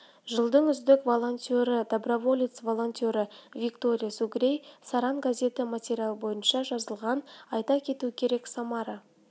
жылдың үздік волонтері доброволец волонтері виктория сугрей саран газеті материалы бойынша жазылған айта кету керек самара